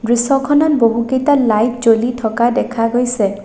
দৃশ্যখনত বহুকেইটা লাইট জ্বলি থকা দেখা গৈছে।